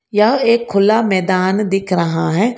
यह एक खुला मैदान दिख रहा है।